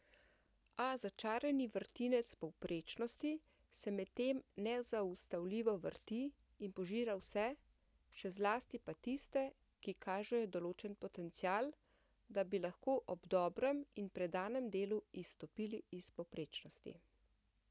A začarani vrtinec povprečnosti se medtem nezaustavljivo vrti in požira vse, še zlasti pa tiste, ki kažejo določen potencial, da bi lahko ob dobrem in predanem delu izstopili iz povprečnosti.